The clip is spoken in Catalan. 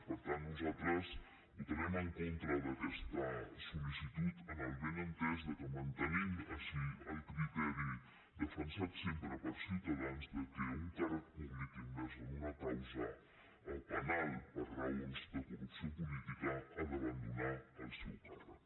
per tant nosaltres votarem en contra d’aquesta sol·li·citud amb el benentès que mantenim així el criteri de·fensat sempre per ciutadans que un càrrec públic im·mers en una causa penal per raons de corrupció política ha d’abandonar el seu càrrec